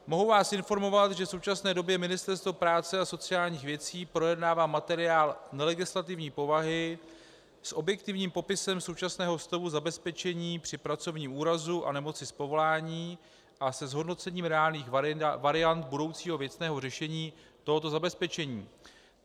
Mohu vás informovat, že v současné době Ministerstvo práce a sociálních věcí projednává materiál nelegislativní povahy s objektivním popisem současného stavu zabezpečení při pracovním úrazu a nemoci z povolání a se zhodnocením reálných variant budoucího věcného řešení tohoto zabezpečení.